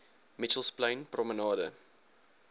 mitchells plain promenade